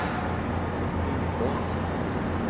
Lindås